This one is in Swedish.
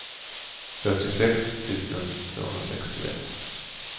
fyrtiosex tusen tvåhundrasextioett